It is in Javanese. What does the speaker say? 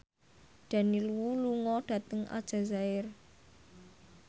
Daniel Wu lunga dhateng Aljazair